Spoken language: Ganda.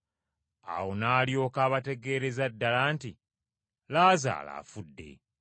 Awo n’alyoka abategeereza ddala nti, “Laazaalo afudde.